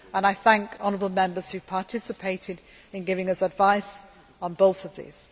I thank Honourable Members who participated in giving us advice on both of these.